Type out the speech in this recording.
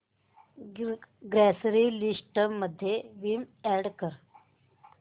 grocery list मध्ये Vim add कर